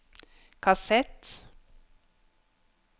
kassett